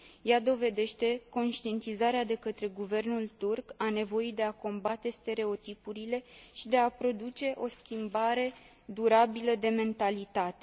Ea dovedește conștientizarea de către guvernul turc a nevoii de a combate stereotipurile și de a produce o schimbare durabilă de mentalitate.